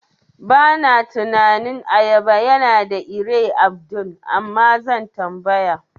Bana tunanin ayaba yana da ire Abdul, Amma zan tambaya.